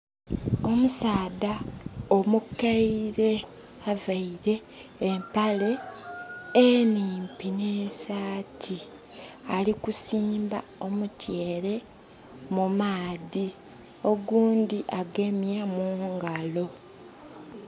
Omusaadha omukaire avaire empale enimpi ne saati ali kusimba omutyere mu maadhi, ogundhi agemye mungalo.